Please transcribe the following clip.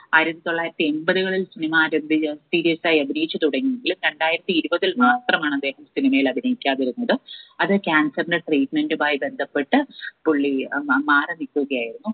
ആയിരത്തി തൊള്ളായിരത്തി എമ്പതുകളിൽ serious ആയി അഭിനയിച്ചു തുടങ്ങിയെങ്കിലും രണ്ടായിരത്തി ഇരുപതിൽ മാത്രമാണ് അദ്ദേഹം cinema യിൽ അഭിനയിക്കാതിരുന്നത് അത് cancer ന്റെ treatment മായി ബന്ധപ്പെട്ട് പുള്ളി ഏർ മാറി നിക്കുകയായിരുന്നു